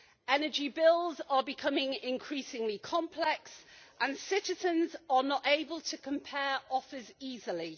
Energy bills are becoming increasingly complex and citizens are not able to compare offers easily.